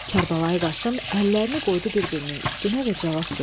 Kərbəlayi Qasım əllərini qoydu bir-birinin üstünə və cavab verdi: